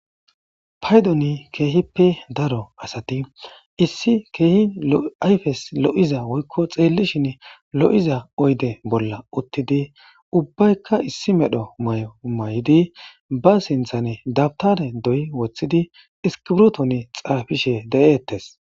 Paydoni keehippe daro asati issi keehi ayfes lo'iza woykko xeellishin lo'iza oyde bolla uttidi ubbaykka issi medho mayo mayidi ba sinthane dabtare doy wothidi iskibruton xaafishe de'ettes